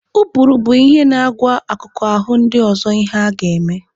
Ụbụrụ bụ ihe na-agwa akụkụ ahụ ndị ọzọ ihe ha ga-eme